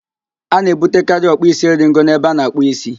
A na-ebutekari ọkpụisieringo n'ebe a na-akpụ ísí